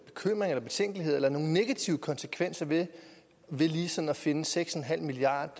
betænkeligheder eller ser nogen negative konsekvenser ved lige sådan at finde seks milliard